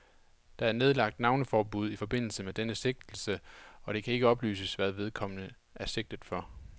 Der er nedlagt navneforbud i forbindelse med denne sigtelse, og det kan ikke oplyses, hvad vedkommende er sigtet for.